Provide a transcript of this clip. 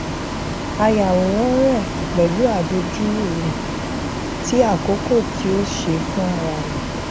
a yàwòrán rẹ pẹlú àdojúrú rẹ tí àkọkọ tí ó ṣe fúnra rẹ